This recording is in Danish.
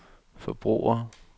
forbrugere